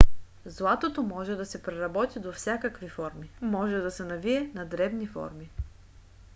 златото може да се преработи до всякакви форми. може да се навие на дребни форми